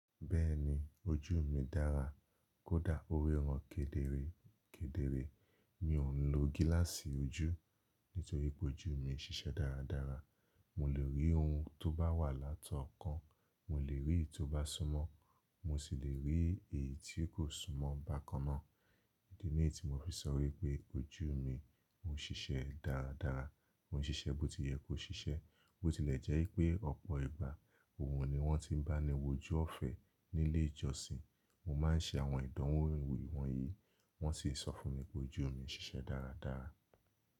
Bẹ́ẹ̀ni ojú mi dára, kódá orí ran kedere kedere. Mi ò ń lo gíláàsì ojú nítorí pé ojú mi ń ṣiṣẹ́ dáradára. Mo lè rí ohun tó bá wà látọ̀ọ́kan, mo lè rí èyí tó bá súnmọ́. Mo sì lè rí èyí tí kò súnmọ́ bákan náà. Ìdè niyi tí mo fi sọ wípé ojú mi oń ṣiṣẹ́ dáradára. Ọ̀ún ṣiṣẹ́ bó ti yẹ kó ṣiṣẹ́. Bó tilẹ̀ jẹ́ pé ọ̀pọ̀ ìgbà òun ni wọ́n ti ń bá ni wò jú ọ̀fẹ́ nílé ìjọsìn. Mo má n ṣe àwọn ìdánwò ìwọ̀nyìí, wọ́n sì sọ fún mi pé ojú mi ń ṣiṣẹ́ dáradára.